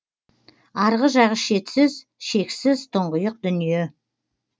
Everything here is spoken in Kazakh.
арғы жағы шетсіз шексіз тұңғиық дүние